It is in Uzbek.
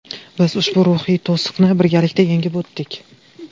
Biz ushbu ruhiy to‘siqni birgalikda yengib o‘tdik.